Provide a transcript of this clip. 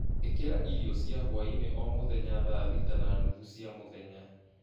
ĩkira irio cia hwaĩ-inĩ o mũthenya thaa thita na nuthu cia mũthenya